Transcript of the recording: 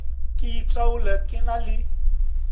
ke itaole ke na le